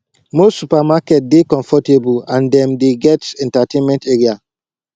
most supermarket dey comfortable and dem dey get entertainment area